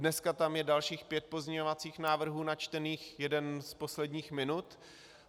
Dneska tam je dalších pět pozměňovacích návrhů načtených, jeden z posledních minut.